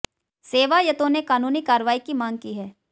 सेवायतों ने कानूनी कार्रवाई की मांग की है